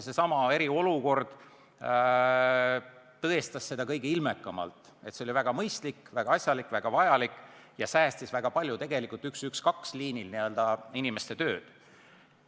Seesama eriolukord tõestas kõige ilmekamalt, et see oli väga mõistlik, väga asjalik ja väga vajalik ning säästis tegelikult väga palju liinil 112 töötanud inimeste aega.